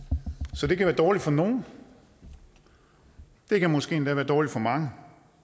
så det kan være dårligt for nogle det kan måske endda være dårligt for mange